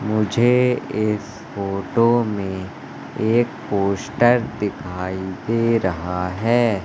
मुझे इस फोटो में एक पोस्टर दिखाई दे रहा है।